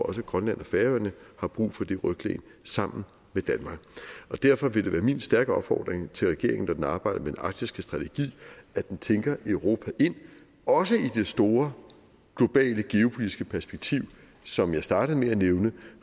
også grønland og færøerne har brug for det ryglæn sammen med danmark derfor vil det være min stærke opfordring til regeringen når man arbejder med den arktiske strategi at den tænker europa ind også i det store globale geopolitiske perspektiv som jeg startede med at nævne